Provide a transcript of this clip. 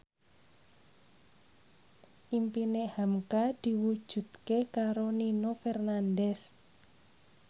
impine hamka diwujudke karo Nino Fernandez